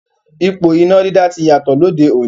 Ipò iná dídá ti yàtọ̀ lóde òní.